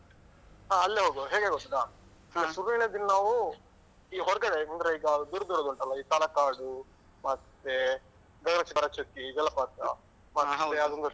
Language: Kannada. ಹ ಅಲ್ಲೇ ಹೋಗುವ ಹೇಗೆ ಗೊತ್ತುಂಟಾ, ಶುರುವಿನ ದಿನ ನಾವು ಈಗ ಹೊರ್ಗಡೆ ಅಂದ್ರೆ ಈಗ ದೂರ ದೂರದ್ದುಂಟಲ ಈ ತಲಕಾಡು ಮತ್ತೆ ಗಗನ ಚುಕ್ಕಿ , ಭರಚುಕ್ಕಿ ಜಲಪಾತ. ಅದೊಂದು